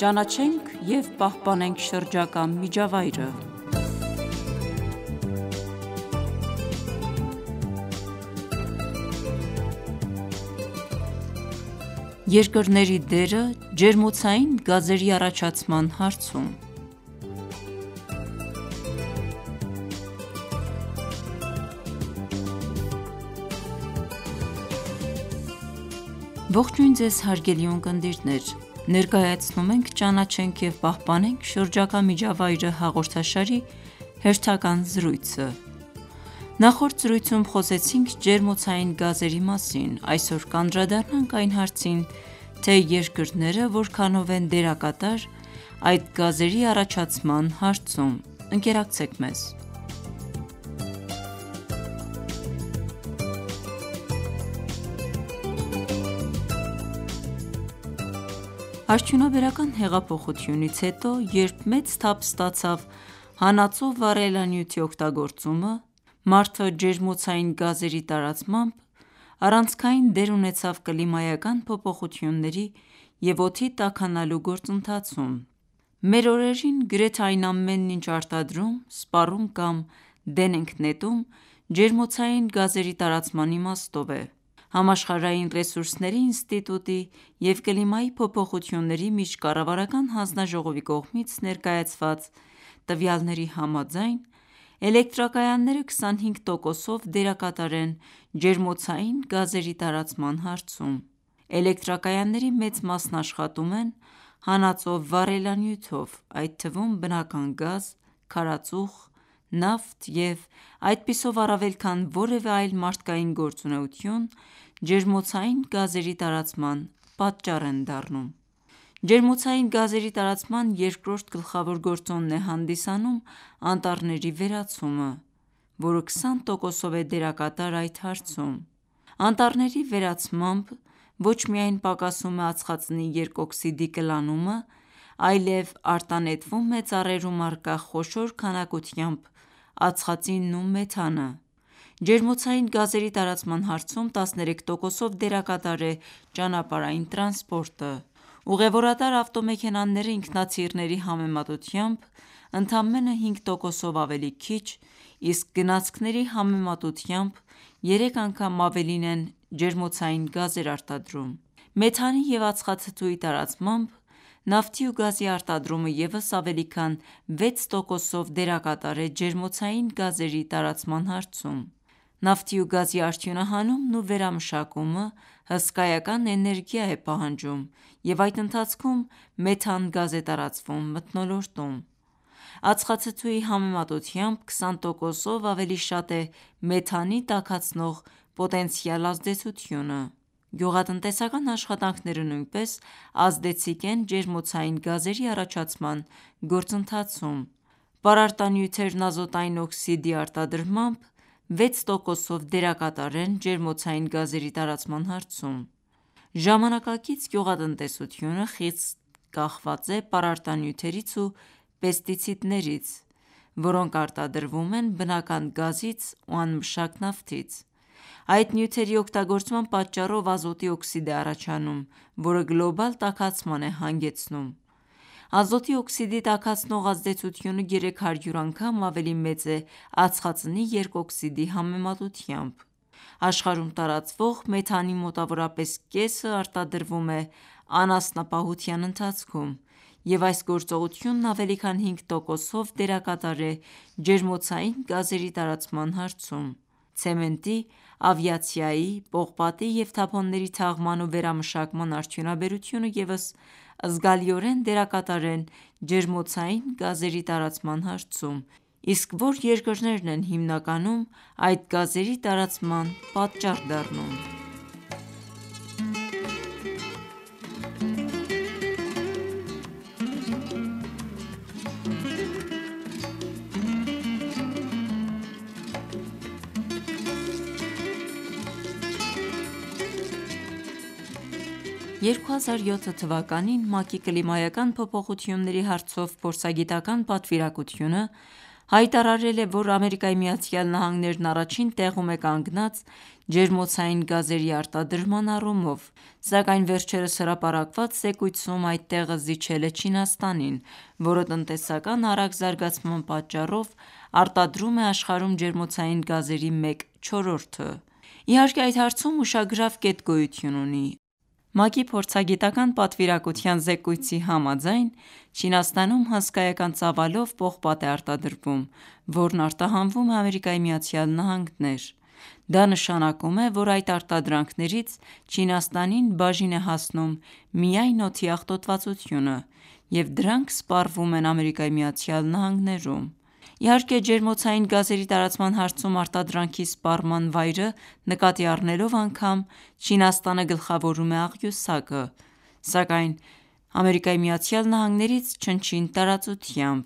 Ճանաչենք և պահպանենք շրջակա միջավայրը Երկրների դերը ջերմոցային գազերի առաջացման հարցում Ողջույն Ձեզ հարգելի ունկնդիրներ: Ներկայացնում ենք «Ճանաչենք և պահպանենք շրջակա միջավայրը» հաղորդաշարի հերթական զրույցը: Նախորդ զրույցում խոսեցինք ջերմոցային գազերի մասին: Այսօր կանդրադառնանք այն հարցին, թե երկրները որքանով են դերակատար այդ գազերի առաջացման հարցում: Ընկերակցեք մեզ: Արդյունաբերական հեղափոխությունից հետո, երբ մեծ թափ ստացավ հանածո վառելանյութի օգտագործումը, ջերմոցային գազերի տարածմամբ, մարդn առանցքային դեր ունեցավ կլիմայական փոփոխությունների և օդի տաքանալու գործընթացում: Մեր օրերին, գրեթե այն ամենն ինչ արտադրում, սպառում կամ դեն ենք նետում ջերմոցային գազերի տարածման իմաստով է: «Համաշխարհային ռեսուրսների ինստիտուտ»-ի և «Կլիմայի փոփոխությունների միջկառավարական հանձնաժողով»-ի կողմից ներկայացված տվյալների համաձայն, էլեկտրակայանները 25 տոկոսով դերակատար են ջերմոցային գազերի տարածման հարցում: Էլեկտրակայանների մեծ մասն աշխատում են հանածո վառելանյութով, այդ թվում բնական գազ, քարածուխ, նավթ և այդպիսով առավել քան որևէ այլ մարդկային գործունեություն, ջերմոցային գազերի տարածման պատճառ են դառնում: Ջերմոցային գազերի տարածման երկրորդ գլխավոր գործոնն է հանդիսանում անտառների վերացումը, որը 20 տոկոսով է դերակատար այդ հարցում: Անտառների վերացմամբ ոչ միայն պակասում է ածխածնի երկօքսիդի կլանումը, այլև արտանետվում է ծառերում առկա խոշոր քանակությամբ ածխածինն ու մեթանը: Ջերմոցային գազերի տարածման հարցում 13 տոկոսով դերակատար է ճանապարհային տրանսպորտը: Ուղևորատար ավտոմեքենաները ինքնաթիռների համեմատությամբ ընդամենը 5 տոկոսով ավելի քիչ, իսկ գնացքների համեմատությամբ 3 անգամ ավելին են ջերմոցային գազեր արտադրում: Մեթանի և ածխաթթուի տարածմամբ, նավթի ու գազի արտադրումը ևս ավելի քան 6 տոկոսով դերակատար է ջերմոցային գազերի տարածման հարցում: Նավթի ու գազի արդյունահանումն ու վերամշակումը հսկայական էներգիա է պահանջում և այդ ընթացքում մեթան գազ է տարածվում մթնոլորտում: Ածխաթթուի համեմատությամբ 20 տոկոսով ավելի շատ է մեթանի տաքացնող պոտենցիալ ազդեցությունը: Գյուղատնտեսական աշխատանքները նույնպես ազդեցիկ են ջերմոցային գազերի առաջացման գործընթացում: Պարարտանյութերն ազոտային օքսիդի արտադրմամբ, 6 տոկոսով դերակատար են ջերմոցային գազերի տարածման հարցում: Ժամանակակից գյուղատնտեսությունը խիստ կախված է պարարտանյութերից ու պեստիցիդներից, որոնք արտադրվում են բնական գազից ու անմշակ նավթից: Այդ նյութերի օգտագործման պատճառով ազոտի օքսիդ է առաջանում, որը գլոբալ տաքացման է հանգեցնում: Ազոտի օքսիդի տաքացնող ազդեցությունը 300 անգամ ավելի մեծ է ածխածնի երկօքսիդի համեմատությամբ: Աշխարհում տարածվող մեթանի մոտավորապես կեսն արտադրվում է անասնապահության ընթացքում և այս գործողությունն ավելի քան 5 տոկոսով դերակատար է ջերմոցային գազերի տարածման հարցում: Ցեմենտի, ավիացիայի, պողպատի և թափոնների թաղման ու վերամշակման արդյունաբերությունը ևս զգալիորեն դերակատար են ջերմոցային գազերի տարածման հարցում: Իսկ որ երկրներն են հիմնականում այդ գազերի տարածման պատճառ դառնում: 2007 թվականին, ՄԱԿ-ի կլիմայական փոփոխությունների հարցով փորձագիտական պատվիրակությունը հայտարարել է, որ ԱՄՆ-ն առաջին տեղում է կանգնած ջերմոցային գազերի արտադրման առումով: Սակայն վերջերս հրապարակված զեկույցում այդ տեղը զիջել է Չինաստանին, որը տնտեսական արագ զարգացման պատճառով արտադրում է աշխարհում ջերմոցային գազերի մեկ չորրորդը: Իհարկե այդ հարցում ուշագրավ կետ գոյություն ունի: ՄԱԿ-ի փորձագիտական պատվիրակության զեկույցի համաձայն, Չինաստանում հսկայական ծավալով պողպատ է արտադրվում, որն արտահանվում է ԱՄՆ: Դա նշանակում է, որ այդ արտադրանքներից Չինաստանին բաժին է հասնում միայն օդի աղտոտվածությունը և դրանք սպառվում են ԱՄՆ-ում: Իհարկե ջերմոցային գազերի տարածման հարցում արտադրանքի սպառման վայրը նկատի առնելով անգամ, Չինաստանը գլխավորում է աղյուսակը, սակայն ԱՄՆ-ից չնչին տարածությամբ: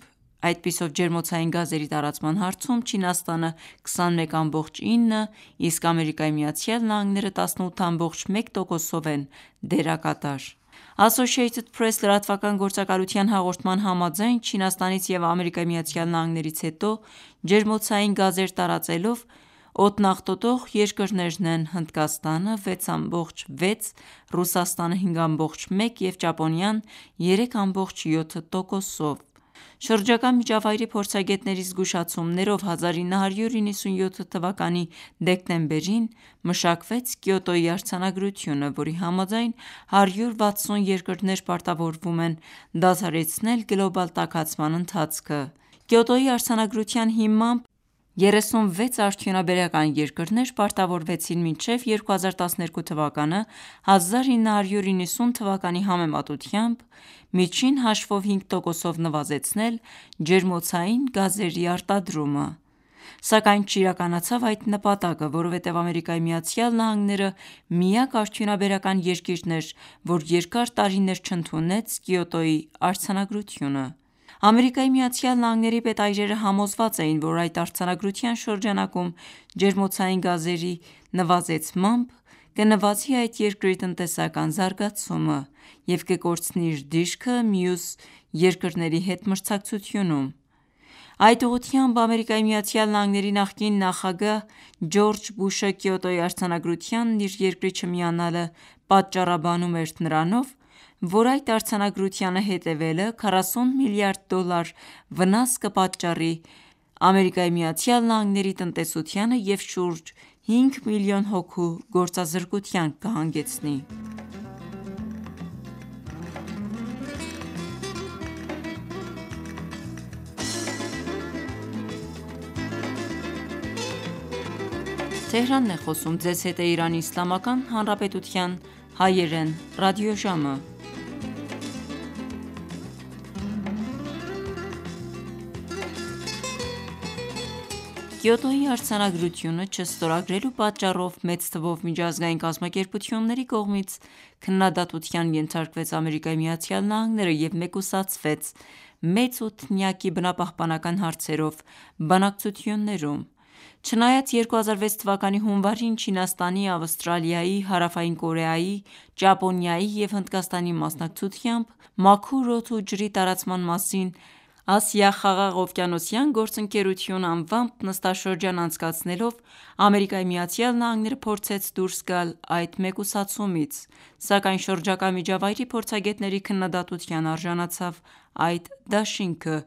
Այդպիսով ջերմոցային գազերի տարածման հարցում Չինաստանը 21.9, իսկ ԱՄՆ-ը 18.1 տոկոսով են դերակատար: «Associated Press» լրատվական գործակալության հաղորդման համաձայն, Չինաստանից և ԱՄՆ-ից հետո, ջերմոցային գազեր տարածելով օդն աղտոտող երկրներն են՝ Հնդկաստանը 6.6, Ռուսաստանը 5.1 և Ճապոնիան 3.7 տոկոսով: Շրջակա միջավայրի փորձագետների զգուշացումներով, 1997 թվականի դեկտեմբերին մշակվեց Կիոտոյի արձանագրությունը, որի համաձայն 160 երկրներ պարտավորվում են դադարեցնել գլոբալ տաքացման ընթացքը: Կիոտոյի արձանագրության հիմամբ, 36 արդյունաբերական երկրներ պարտավորվեցին մինչև 2012 թվականը 1990 թվականի համեմատությամբ, միջին հաշվով 5 տոկոսով նվազեցնել ջերմոցային գազերի արադրումը: Սակայն չիրականացավ այդ նպատակը, որովհետև ԱՄՆ-ը միակ արդյունաբերական երկիրն էր, որ երկար տարիներ չընդունեց Կիոտոյի արձանագրությունը: ԱՄՆ-ի պետայրերը համոզված էին, որ այդ արձանագրության շրջանակում ջերմոցային գազերի նվազեցմամբ, կնվազի այդ երկրի տնտեսական զարգացումը և կկորցնի իր դիրքը մյուս երկրների հետ մրցակցությունում: Այդ ուղղությամբ, ԱՄՆ-ի նախկին նախագահ՝ Ջորջ Բուշը Կիոտոյի արձանագրությանն իր երկրի չմիանալը պատճառաբանում էր նրանով, որ այդ արձանագրությանը հետևելը 40 միլիարդ դոլար վնաս կպատճառի ԱՄՆ-ի տնտեսությանը և շուրջ 5 միլիոն հոգու գործազրկության կհանգեցնի: Կիոտոյի արձանագրությունը չստորագրելու պատճառով մեծ թվով միջազգային կազմակերպությունների կողմից քննադատության ենթարկվեց ԱՄՆ-ը և մեկուսացվեց «Մեծ ութնյակ»-ի բնապահպանական հարցերով բանակցություններում: Չնայած 2006 թվականի հունվարին, Չինաստանի, Ավստրալիայի, Հարավային Կորեայի, Ճապոնիայի և Հնդկաստանի մասնակցությամբ, «Մաքուր օդ ու ջրի տարածման մասին Ասիա-Խաղաղօվկիանոսյան գործընկերություն» անվմաբ նստաշրջան անցկացնելով, ԱՄՆ-ը փորձեց դուրս գալ այդ մեկուսացումից, սակայն շրջակա միջավայրի փորձագետների քննադատության արժանացավ այդ դաշինքը,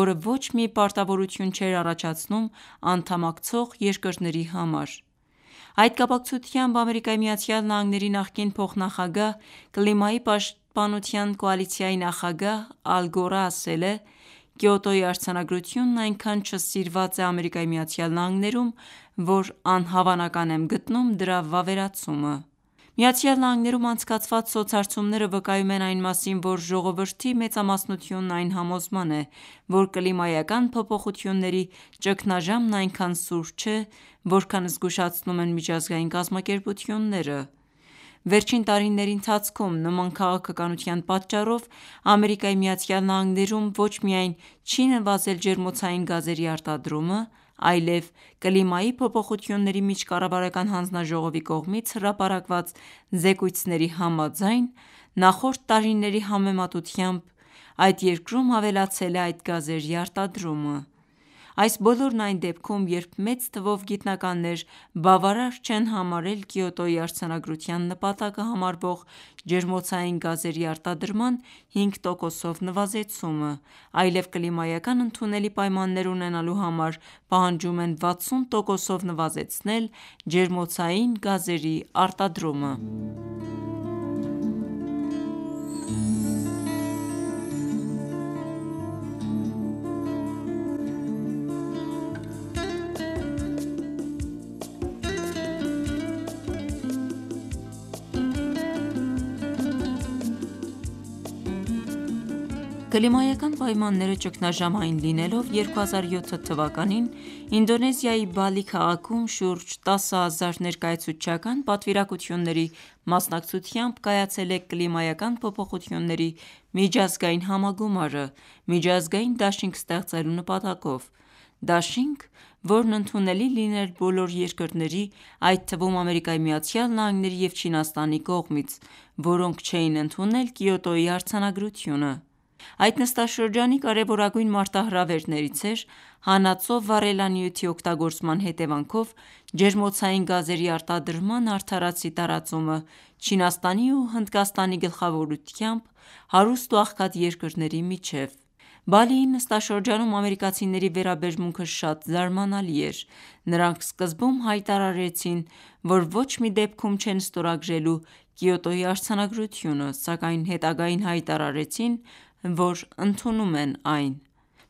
որը ոչ մի պարտավորություն չէր առաջացնում անդամակցող երկրների համար: Այդ կապակցությամբ, ԱՄՆ-ի նախկին փոխնախագահ, Կլիմայի պաշտպանության կոալիցիայի նախագահ՝ Ալ Գորն ասել է.«Կիոտոյի արձանագրությունն այնքան չսիրված է ԱՄՆ-ում, որ անհավանական եմ գտնում դրա վավերացումը»: ԱՄՆ-ում անցկացված սոցհարցումները վկայում են այն մասին, որ ժողովրդի մեծամասնությունն այն համոզման է, որ կլիմայական փոփոխությունների ճգնաժամն այնքան սուր չէ, որքան զգուշացնում են միջազգային կազմակերպությունները: Վերջին տարիների ընթացքում նման քաղաքականության պատճառով, ԱՄՆ-ում ոչ միայն չի նվազել ջերմոցային գազերի արտադրումը, այլև «Կլիմայի փոփոխությունների միջկառավարական հանձնաժողով»-ի կողմից հրապարակված զեկույցների համաձայն, նախորդ տարիների համեմատությամբ այդ երկրում ավելացել է այդ գազերի արտադրումը: Այս բոլորն այն դեպքում, երբ մեծ թվով գիտնականներ բավարար չեն համարել Կիոտոյի արձանագրության նպատակը համարվող ջերմոցային գազերի արտադրման 5 տոկոսով նվազեցումը, այլև կլիմայական ընդունելի պայմաններ ունենալու համար պահանջում են 60 տոկոսով նվազեցնել ջերմոցային գազերի արտադրումը: Կլիմայական պայմանները ճգնաժամային լինելով, 2007 թվականին, Ինդոնեզիայի Բալի քաղաքում, շուրջ 10 հազար ներկայացուցչական պատվիրակությունների մասնակցությամբ կայացել է կլիմայական փոփոխությունների միջազգային համագումարը միջազգային դաշինք ստեղծելու նպատակով: Դաշինք, որն ընդունելի լիներ բոլոր երկրների, այդ թվում ԱՄՆ-ի և Չինաստանի կողմից, որոնք չէին ընդունել Կիոտոյի արձանագրությունը: Այդ նստաշրջանի կարևորագույն մարտահրավերներից էր հանածո վառելանյութի օգտագործման հետևանքով ջերմոցային գազերի արտադրման արդարացի տարածումը Չինաստանի ու Հնդկաստանի գլխավորությամբ հարուստ ու աղքատ երկրների միջև: Բալիի նստաշրջանում ամերիկացիների վերաբերմունքը շատ զարմանալի էր: Նրանք սկզբում հայտարարեցին, որ ոչ մի դեպքում չեն ստորագրելու Կիոտոյի արձանագրությունը, սակայն հետագային հայտարարեցին, որ ընդունում են այն: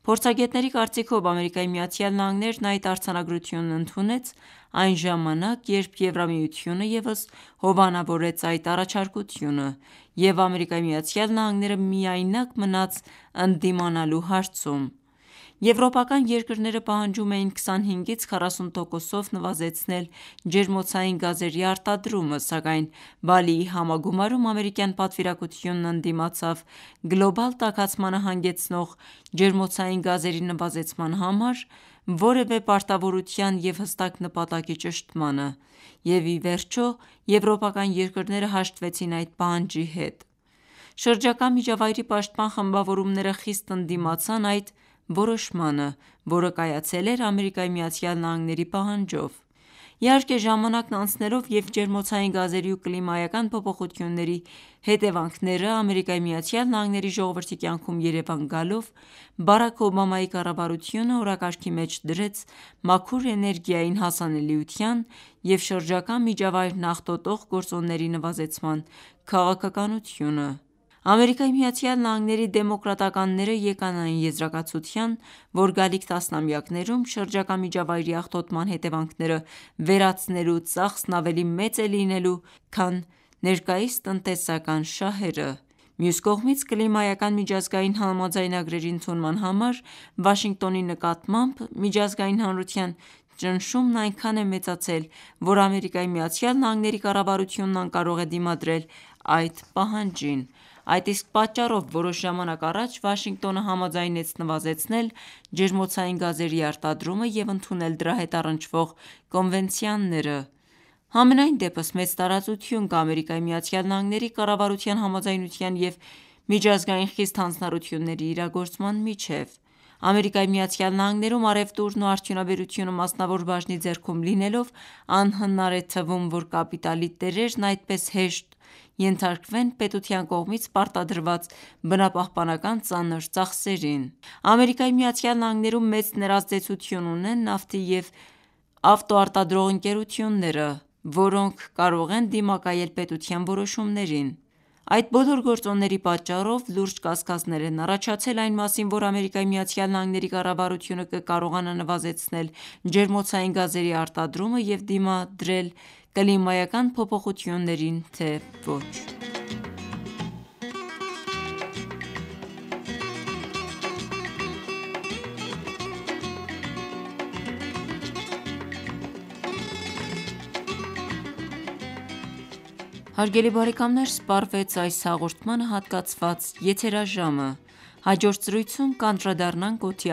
Փորձագետների կարծիքով, ԱՄՆ-ն այդ արձանագրությունն ընդունեց այն ժամանակ, երբ Եվրամիությունը ևս հովանավորեց այդ առաջարկությունը և ԱՄՆ-ն միայնակ մնաց ընդդիմանալու հարցում: Եվրոպական երկրները պահանջում էին 25-40 տոկոսով նվազեցնել ջերմոցային գազերի արտադրումը, սակայն Բալիի համագումարում ամերիկյան պատվիրակությունն ընդդիմացավ գլոբալ տաքացմանը հանգեցնող ջերմոցային գազերի նվազեցման համար որևէ պարտավորության և հստակ նպատակի ճշտմանը և ի վերջո եվրոպական երկրները հաշտվեցին այդ պահանջի հետ: Շրջակա միջավայրի պաշտպան խմբավորումները խիստ ընդդիմացան այդ որոշմանը, որը կայացել էր ԱՄՆ-ի պահանջով: Իհարկե ժամանակն անցնելով և ջերմոցային գազերի ու կլիմայական փոփոխությունների հետևանքներն ԱՄՆ-ի ժողովրդի կյանքում երևան գալով, Բարաք Օբամայի կառավարությունը օրակարգի մեջ դրեց մաքուր էներգիային հասանելիության և շրջակա միջավայրն աղտոտող գործոնների նվազեցման քաղաքականությունը: ԱՄՆ-ի Դեմոկրատականներն եկան այն եզրակացության, որ գալիք տասնամյակներում շրջակա միջավայրի աղտոտման հետևանքները վերացնելու ծախսն ավելի մեծ է լինելու քան ներկայիս տնտեսական շահերը: Մյուս կողմից, կլիմայական միջազգային համաձայնագրերի ընդունման համար Վաշինգտոնի նկատմամբ միջազգային հանրության ճնշումն այնքան է մեծացել, որ ԱՄՆ-ի կառավարությունն անկարող է դիմադրել այդ պահանջին: Այդ իսկ պատճառով, որոշ ժամանակ առաջ, Վաշինգտոնը համաձայնեց նվազեցնել ջերմոցային գազերի արտադրումը և ընդունել դրա հետ առնչվող կոնվենցիաները: Համենայնդեպս, մեծ տարածություն կա ԱՄՆ-ի կառավարության համաձայնության և միջազգային խիստ հանձնառությունների իրագործման միջև: ԱՄՆ-ում առևտուրն ու արդյունաբերությունը մասնավոր բաժնի ձեռքում լինելով, անհնար է թվում, որ կապիտալի տերերն այդպես հեշտ ենթարկվեն պետության կողմից պարտադրված բնապահպանական ծանր ծախսերին: ԱՄՆ-ում մեծ ներազդեցություն ունեն նավթի և ավտոարտադրող ընկերությունները, որոնք կարող են դիմակայել պետության որոշումներին: Այդ բոլոր գործոնների պատճառով լուրջ կասկածներ են առաջացել այն մասին, որ ԱՄՆ-ի կառավարությունը կկարողանա նվազեցնել ջերմոցային գազերի արտադրումը և դիմադրել կլիմայական փոփոխություններին, թե ոչ: Բարեկամներ սպառվեց այս հաղորդմանը հատկացված եթերաժամը: Հաջորդ զրույցում կանդրադառնանք օդի